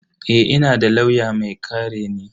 Eh, ina da lauya mai kare ni.